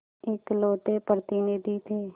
इकलौते प्रतिनिधि थे